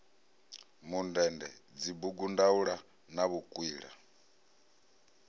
mundende dzibugu ndaula na vhukwila